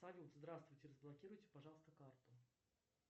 салют здравствуйте разблокируйте пожалуйста карту